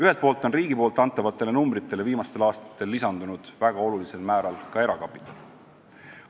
Ühelt poolt on riigi antavale rahale viimastel aastatel lisandunud väga olulisel määral ka erakapitali.